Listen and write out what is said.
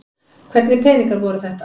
Hvernig peningar voru þetta?